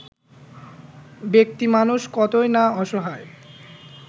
ব্যাক্তিমানুষ কতই না অসহায়